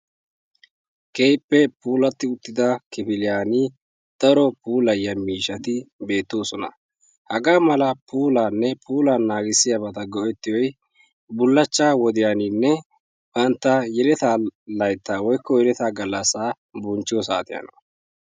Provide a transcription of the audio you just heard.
Keehippe puulatida uttida kifiliyaan daro puuliyyiya miishshati beettoosona. ha mala puulayiyaa mishshata go'etiyoy bulachcha wodiyaaninne bantta yeletta laytta woykko yeletta galassa bonchchiyo saatiyaana.